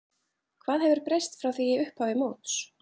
Hvað hefur breyst frá því í upphafi móts?